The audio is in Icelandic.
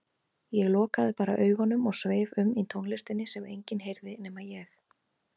Ég lokaði bara augunum og sveif um í tónlistinni sem enginn heyrði nema ég.